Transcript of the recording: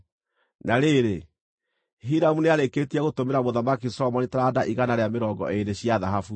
Na rĩrĩ, Hiramu nĩarĩkĩtie gũtũmĩra Mũthamaki Solomoni taranda igana rĩa mĩrongo ĩĩrĩ cia thahabu.